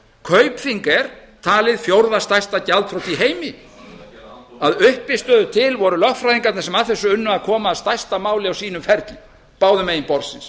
kaupþing er talið vera fjórða stærsta gjaldþrot í heimi að uppstyttu til voru lögfræðingarnir sem að þessu unnu að koma að stærsta máli á sínum ferli báðum megin borðsins